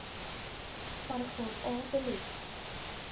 paragraaf a belet